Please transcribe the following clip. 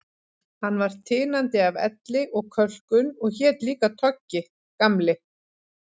Hann var tinandi af elli og kölkun og hét líka Toggi, Gamli